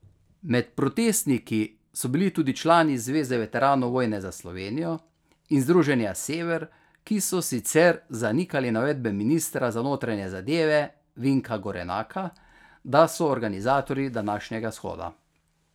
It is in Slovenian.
Med protestniki so bili tudi člani Zveze veteranov vojne za Slovenijo in Združenja Sever, ki so sicer zanikali navedbe ministra za notranje zadeve Vinka Gorenaka, da so organizatorji današnjega shoda.